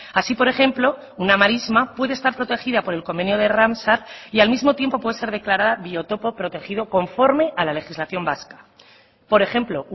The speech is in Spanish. así por ejemplo una marisma puede estar protegida por el convenio de ramsar y al mismo tiempo puede ser declarada biotopo protegido conforme a la legislación vasca por ejemplo